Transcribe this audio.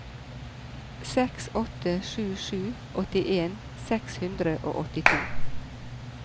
seks åtte sju sju åttien seks hundre og åttito